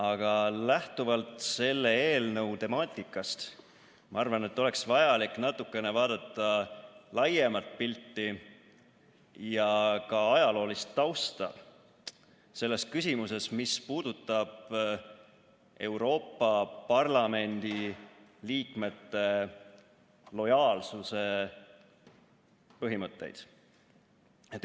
Aga lähtuvalt selle eelnõu temaatikast, ma arvan, oleks vaja natukene vaadata laiemat pilti ja ka ajaloolist tausta selles küsimuses, mis puudutab Euroopa Parlamendi liikmete lojaalsuse põhimõtteid.